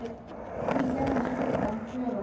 Því gerði Sveinn enn för sína.